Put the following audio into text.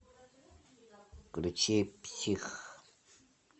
включи псих